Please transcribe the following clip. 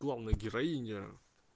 главная героиня